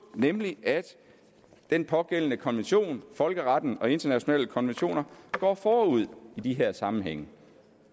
nemlig at den pågældende konvention folkeretten og internationale konventioner går forud i de her sammenhænge